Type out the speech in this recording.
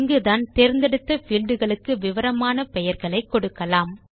இங்குதான் தேர்ந்தெடுத்த பீல்ட் களுக்கு விவரமான பெயர்களை கொடுக்கலாம்